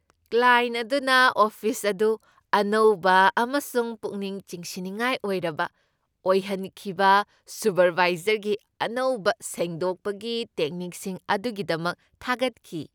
Client ꯑꯗꯨꯅ office ꯑꯗꯨ ꯑꯅꯧꯕ ꯑꯃꯁꯨꯡ ꯄꯨꯛꯅꯤꯡ ꯆꯤꯡꯁꯤꯟꯅꯤꯡꯉꯥꯏ ꯑꯣꯏꯔꯕ ꯑꯣꯏꯍꯟꯈꯤꯕ ꯁꯨꯄꯔꯚꯥꯏꯖꯔꯒꯤ ꯑꯅꯧꯕ ꯁꯦꯡꯗꯣꯛꯄꯒꯤ ꯇꯦꯛꯅꯤꯛꯁꯤꯡ ꯑꯗꯨꯒꯤꯗꯃꯛ ꯊꯥꯒꯠꯈꯤ ꯫